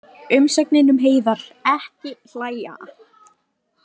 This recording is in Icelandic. Umsögnin um Heiðar: Ekki hlæja.